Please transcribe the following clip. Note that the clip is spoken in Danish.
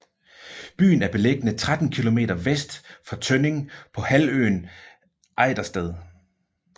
Byen er beliggende 13 kilometer vest for Tønning på halvøen Ejdersted